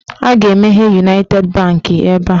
A ga-emeghe Uniti bankị ebe a.